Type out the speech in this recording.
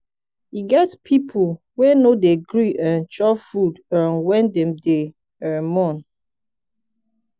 e get pipu wey no dey gree um chop food um wen dem dey um mourn.